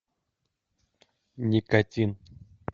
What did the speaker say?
никотин